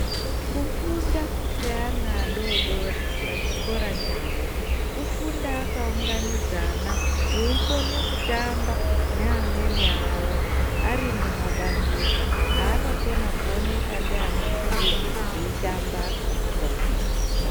Kufunda kweana adodori pachikora chavo, kufunda akaunganidzana, eikone kutamba neamweni awo ari mumabandika, aanokona kuoneka ndianambuya, eitamba asikakuwadzani.